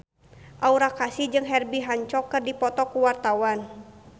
Aura Kasih jeung Herbie Hancock keur dipoto ku wartawan